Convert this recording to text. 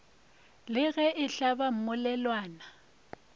la ge e hlaba mmolelwana